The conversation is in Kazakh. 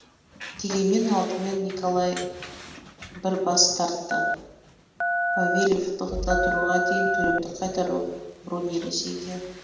дегенмен алдымен николай бір бас тартты повелев тоқтата тұруға дейін төлемді қайтару бруни ресейге